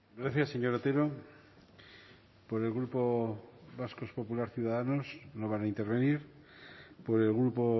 gracias señor otero por el grupo vasco popular ciudadanos no van a intervenir por el grupo